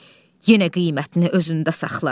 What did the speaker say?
yenə qiymətini özündə saxlar.